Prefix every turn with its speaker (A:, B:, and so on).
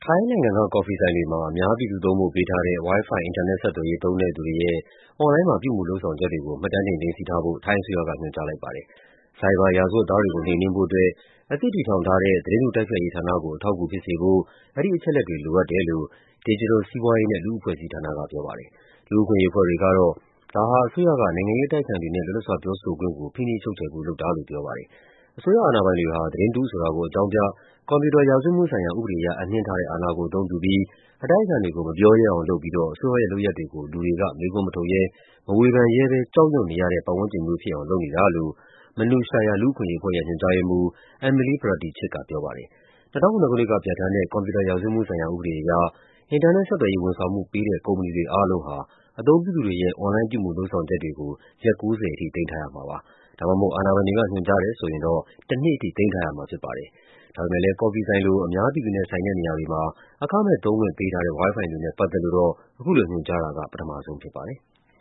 A: ိုင်းနိုင်ငံက ကော်ဖီဆိုင်တွေမှာ အများပြည်သူသုံးဖို့ ပေးထားတဲ့ Wi-Fi အင်တာနက်ဆက်သွယ်ရေး သုံးတဲ့သူတွေရဲ့ အွန်လိုင်းမှာ ပြုမူလုပ်ဆောင်ချက်တွေကို မှတ်တမ်းတင် သိမ်းဆည်းထားဖို့ ထိုင်းအစိုးရက ညွှန်ကြားလိုက်ပါတယ်။ ဆိုင်ဘာရာဇဝတ်သားတွေကို နှိမ်နင်းဖို့အတွက် အသစ်တည်ထောင်ထားတဲ့ သတင်းတုတိုက်ဖျက်ရေးဌာနကို အထောက်အကူဖြစ်စေဖို့ အဲဒီအချက်အလက်တွေ လိုအပ်တယ်လို့ ဒစ်ဂျစ်တယ်လ် စီးပွားရေးနဲ့ လူ့အဖွဲ့အစည်းဌာနက ပြောပါတယ်။ လူ့အခွင့်အရေးအဖွဲ့တွေကတော့ ဒါဟာ အစိုးရက နိုင်ငံရေးအတိုက်အခံတွေနဲ့ လွတ်လပ်စွာပြောဆိုခွင့်ကို ဖိနှိပ်ချုပ်ချယ်ဖို့ လုပ်တာလို့ ပြောပါတယ်။ အစိုးရအာဏာပိုင်တွေဟာ သတင်းတုဆိုတာကို အကြောင်းပြ၊ ကွန်ပျူတာ ရာဇဝတ်မှုဆိုင်ရာ ဥပဒေအရ အပ်နှင်းထားတဲ့အာဏာကို အသုံးပြုပြီး အတိုက်အခံတွေကို မပြောရဲအောင်လုပ်ပြီးတော့ အစိုးရရဲ့ လုပ်ရပ်တွေကို လူတွေက မေးခွန်းမထုတ်ရဲ၊ မဝေဖန်ရဲဘဲ ကြောက်ရွံ့နေရတဲ့ ပတ်ဝန်းကျင်မျိုးဖြစ်အောင် လုပ်နေတာလို့ Manushya လူ့အခွင့်အရေးအဖွဲ့ရဲ့ ညွှန်ကြားရေးမှူး Emilie Pradichit က ပြောပါတယ်။ ၂၀၀၇ ခုနှစ်ကပြဋ္ဌာန်းတဲ့ ကွန်ပျူတာရာဇဝတ်မှုဆိုင်ရာ ဥပဒေအရ အင်တာနက် ဆက်သွယ်ရေး ဝန်ဆောင်မှုပေးတဲ့ ကုမ္ပဏီတွေ အားလုံးဟာ အသုံးပြုသူတွေရဲ့ အွန်လိုင်းပြုမူလုပ်ဆောင်ချက်တွေကို ရက် ၉၀ ထိ သိမ်းထားရမှာဖြစ်ပါတယ်။ ဒါမှမဟုတ် အာဏာပိုင်တွေက ညွှန်ကြားတယ်ဆိုရင် တနှစ်အထိ သိမ်းထားရမှာပါ။ ဒါပေမယ့် ကော်ဖီဆိုင်လို အများပြည်သူနဲ့ဆိုင်တဲ့ နေရာတွေမှာ အခမဲ့သုံးခွင့်ပေးထားတဲ့ Wi-Fi တွေနဲ့ ပတ်သက်လို့တော့ အခုလို ညွှန်ကြားတာက ပထမဆုံးဖြစ်ပါတယ်။